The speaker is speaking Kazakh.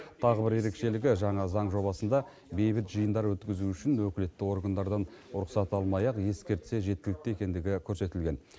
тағы бір ерекшелігі жаңа заң жобасында бейбіт жиындар өткізу үшін өкілетті органдардан рұқсат алмай ақ ескертсе жеткілікті екендігі көрсетілген